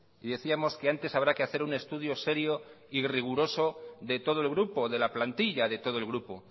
y decíamos que antes habrá que hacer un estudio serio y riguroso de todo el grupo de la plantilla de todo el grupo